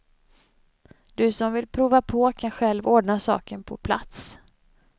Du som vill prova på kan själv ordna saken på plats.